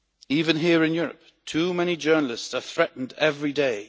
Even here in Europe, too many journalists are threatened every day.